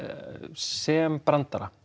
sem brandara